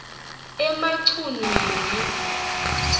emachunwini